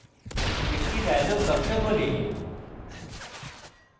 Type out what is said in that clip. একটি dialog box খোলে